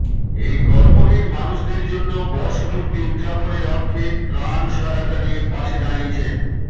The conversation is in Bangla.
এই কর্মহীন মানুষদের জন্য বর্ষপূর্তি উদযাপনের অর্থে ত্রাণ সহায়তা দিয়ে পাশে দাঁড়িয়েছেন